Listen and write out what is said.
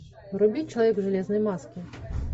вруби человек в железной маске